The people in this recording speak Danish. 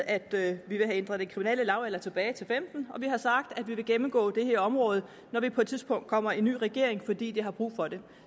at vi vil have ændret den kriminelle lavalder tilbage til femten år og vi har sagt at vi vil gennemgå det her område når vi på et tidspunkt kommer med i en ny regering fordi vi har brug for det